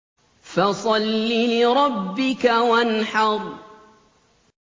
فَصَلِّ لِرَبِّكَ وَانْحَرْ